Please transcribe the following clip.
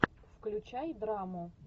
включай драму